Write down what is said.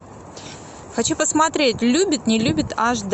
хочу посмотреть любит не любит аш д